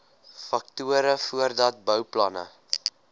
faktore voordat bouplanne